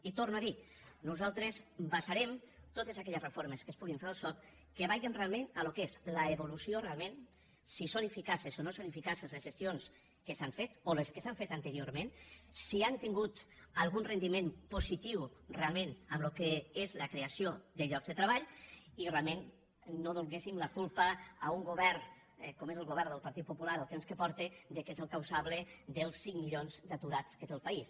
i ho torno a dir nosaltres basarem totes aquelles reformes que es puguin fer al soc que vagin realment al que és l’evolució realment si són eficaces o no són eficaces les gestions que s’han fet o les que s’han fet anteriorment si han tingut algun rendiment positiu realment amb el que és la creació de llocs de treball i realment no donéssim la culpa a un govern com és el govern del partit popular el temps que porta que és el causable dels cinc milions d’aturats que té el país